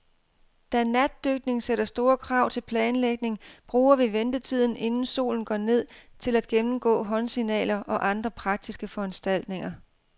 Da natdykning sætter store krav til planlægning, bruger vi ventetiden, inden solen går ned, til at gennemgå håndsignaler og andre praktiske foranstaltninger.